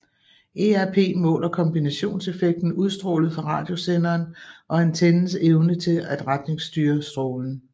ERP måler kombinationseffekten udstrålet fra radiosenderen og antennens evne til et retningsstyre strålen